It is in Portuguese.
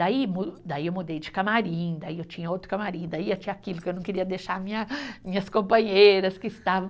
Daí mu, daí eu mudei de camarim, daí eu tinha outro camarim, daí eu tinha aquilo que eu não queria deixar minha, minhas companheiras que estavam.